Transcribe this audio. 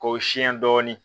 K'o siyɛn dɔɔnin